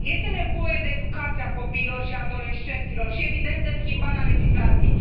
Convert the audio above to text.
Este nevoie de educația copiilor și a adolescenților și evident de schimbarea legislației.